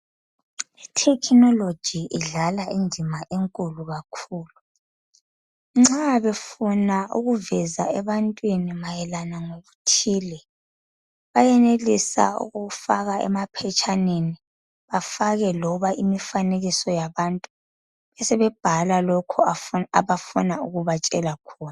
I technology idlala indima enkulu kakhulu nxa befuna ukuveza ebantwini mayelana lokuthile bayenelisa ukufaka emaphetshaneni afake loba imifanekiso yabantu besebebhala lokhu abafuna ukubatshela khona